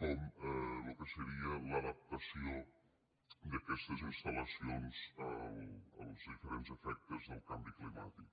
com en lo que seria l’adaptació d’aquestes instal·lacions als diferents efectes del canvi climàtic